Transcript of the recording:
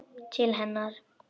Til hennar.